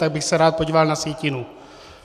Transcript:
Tak bych se rád podíval na sjetinu.